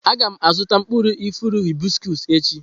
Aga m azụta mkpụrụ osisi ifuru hibiscos echi.